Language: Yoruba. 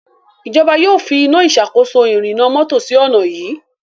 ìjọba yóò fí Iná ìṣàkóso ìrìnnà mọ́tò sí onà yí.